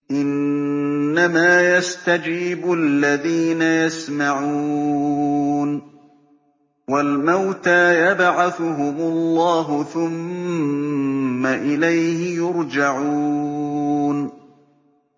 ۞ إِنَّمَا يَسْتَجِيبُ الَّذِينَ يَسْمَعُونَ ۘ وَالْمَوْتَىٰ يَبْعَثُهُمُ اللَّهُ ثُمَّ إِلَيْهِ يُرْجَعُونَ